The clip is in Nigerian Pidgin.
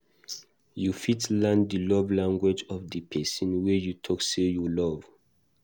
You fit learn di love language of di perosn wey you talk sey you love